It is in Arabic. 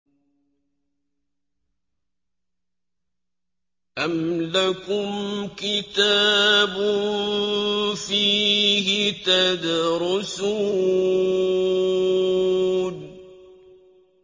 أَمْ لَكُمْ كِتَابٌ فِيهِ تَدْرُسُونَ